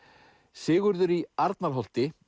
Sigurður í Arnarholti